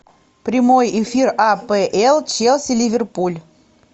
прямой эфир апл челси ливерпуль